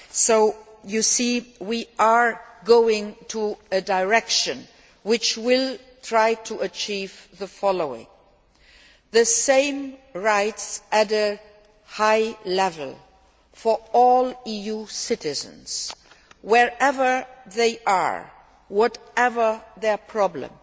So you see we are going in a direction which aims to achieve the following the same high level of rights for all EU citizens wherever they are, whatever their problem.